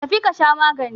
Tafi ka sha magani!